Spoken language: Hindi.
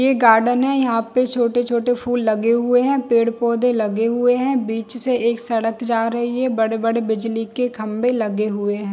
ये गार्डन यहाँ पे छोटे -छोटे फूल लगे हुए है पेड़ -पौधे लगे हुए है बीच से एक सड़क जा रही है बड़े- बड़े बिजली के खम्भे लगे हुए है।